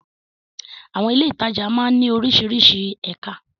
Àwọn ilé-ìtajà máa ń ní oríṣiríṣi ẹ̀ka.